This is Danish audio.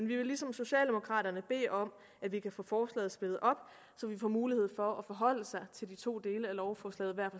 vi vil ligesom socialdemokraterne bede om at vi kan få forslaget splittet op så vi får mulighed for at forholde os til de to dele af lovforslaget hver